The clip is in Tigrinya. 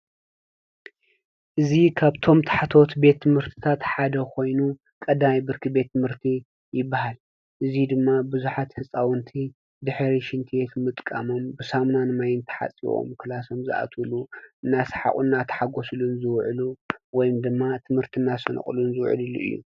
እዚ ካብቶም ታሕተዎት ቤት ትምህርትታት ሓደ ኾይኑ፣ ቀዳማይ ብርኪ ቤት ትምርቲ ይበሃል። እዚ ድማ ብዙሓት ህፃዉንቲ ድሕሪ ሽንቲ ቤት ምጥቃሞም ብሳሙናን ማይን ተሓፂቦም ክላሶም ዝኣትዉሉ እናስሓቁ እናተሓጎስሉን ዝዉዕሉ ወይ ድማ ትምርቲ እናሰነቁ ዝዉዕልሉ እዩ።